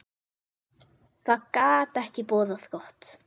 Það gat ekki boðað gott.